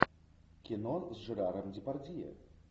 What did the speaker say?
кино с жераром депардье